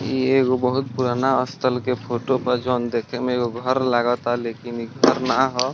इ एगो बहुत पुराना स्थल के फोटो बा जोन देखे में एगो घर लगाता लेकिन इ घर ना हअ।